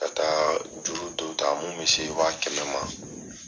Ka taa juru dɔ ta mun bɛ se wa kɛmɛ ma.